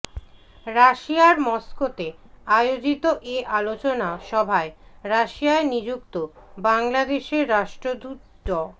রাশিয়ার মস্কোতে আয়োজিত এ আলোচনা সভায় রাশিয়ায় নিযুক্ত বাংলাদেশের রাষ্ট্রদূত ড